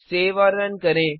save और run करें